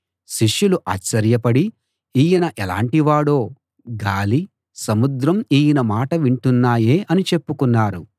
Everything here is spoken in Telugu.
శిష్యులు ఆశ్చర్యపడి ఈయన ఎలాంటివాడో గాలీ సముద్రం ఈయన మాట వింటున్నాయే అని చెప్పుకున్నారు